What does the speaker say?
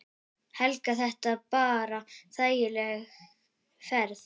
Helga: Þetta bara þægileg ferð?